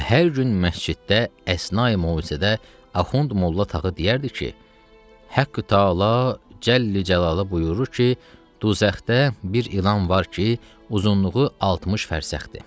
Və hər gün məsciddə əsna-i mövzedə Axund Molla Tağı deyərdi ki, Həqqü Təala cəllə cəlaluhu buyurur ki, cəhənnəmdə bir ilan var ki, uzunluğu 60 fərsəxdir.